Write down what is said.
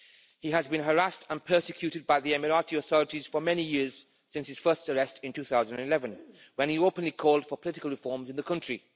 He has been harassed and persecuted by the Emirati authorities for many years since his first arrest in 2011, when he openly called for political reforms in the country.